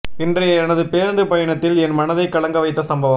இன்றைய எனது பேருந்து பயணத்தில் என் மனதை கலங்க வைத்த சம்பவம்